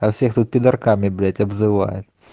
а всех тут пидорками тут блять обзывают